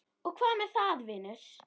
Og hvað með það, vinur?